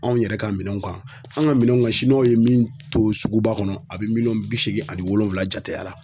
Anw yɛrɛ ka minɛnw kan. An' ŋa minɛnw ŋa w ye min to suguba kɔnɔ a be miliyɔn bi seegin ani wolonwula jateya la.